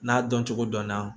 N'a dɔn cogo dɔn